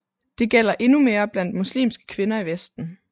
Det gælder endnu mere blandt muslimske kvinder i Vesten